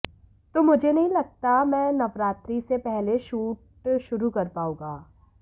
तो मुझे नहीं लगता मैं नवरात्रि से पहले शूट शुरु कर पाउंगा